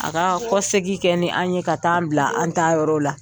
A ka kɔ segi kɛ ni an ye ka taa an bila an taa yɔrɔ la.